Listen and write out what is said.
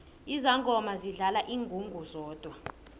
izangoma zidlala ingungu zodwa